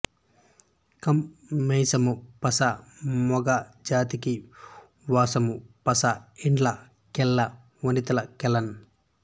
కం మీసము పస మొగ మూతికి వాసము పస ఇండ్ల కెల్ల వనితల కెల్లన్